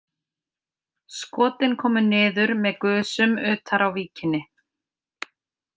Skotin komu niður með gusum utar á víkinni.